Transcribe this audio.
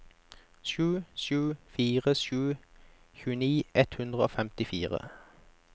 sju sju fire sju tjueni ett hundre og femtifire